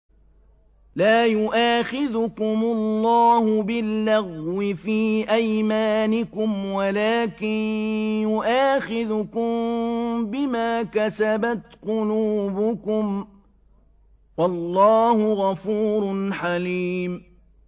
لَّا يُؤَاخِذُكُمُ اللَّهُ بِاللَّغْوِ فِي أَيْمَانِكُمْ وَلَٰكِن يُؤَاخِذُكُم بِمَا كَسَبَتْ قُلُوبُكُمْ ۗ وَاللَّهُ غَفُورٌ حَلِيمٌ